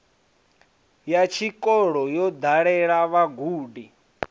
ya tshikolo yo dalela vhagudi